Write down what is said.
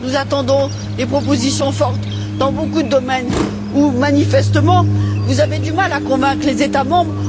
Nous attendons des propositions fortes dans beaucoup de domaines où, manifestement, vous avez du mal à convaincre les États membres.